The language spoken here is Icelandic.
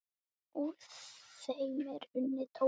Úr þeim er unnið tóbak.